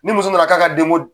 Ni muso nana k'a ka denko